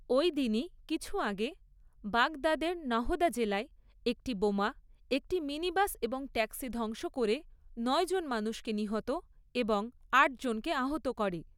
ওইদিনই কিছু আগে বাগদাদের নাহদা জেলায় একটি বোমা একটি মিনি বাস এবং ট্যাক্সি ধ্বংস করে নয়জন মানুষকে নিহত এবং আটজনকে আহত করে।